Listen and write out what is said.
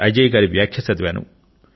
అజయ్ గారి వ్యాఖ్య చదివాను